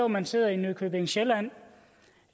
man sidder i nykøbing sjælland